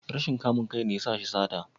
Rashin kamun kai ne ya sa shi sata?